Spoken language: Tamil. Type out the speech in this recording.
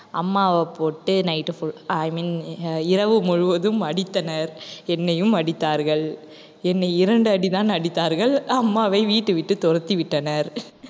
அம்மாவ போட்டு night full i mean ah இரவு முழுவதும் அடித்தனர் என்னையும் அடித்தார்கள் என்னை இரண்டு அடிதான் அடித்தார்கள் அம்மாவை வீட்டை விட்டு துரத்திவிட்டனர்